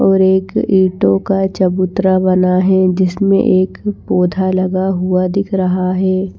और एक ईंटों का चबूतरा बना है जिसमें एक पौधा लगा हुआ दिख रहा है।